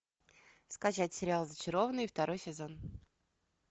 скачать сериал зачарованные второй сезон